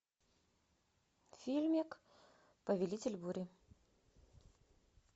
фильмик повелитель бури